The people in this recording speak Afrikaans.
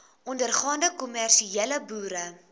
ondergaande kommersiële boere